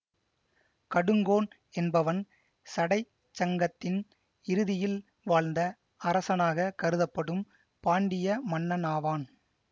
கடுங்கோன் என்பவன் சடைச்சங்கத்தின் இறுதியில் வாழ்ந்த அரசனாக கருதப்படும் பாண்டிய மன்னனாவான்